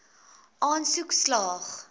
aansoek slaag